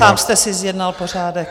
Sám jste si zjednal pořádek.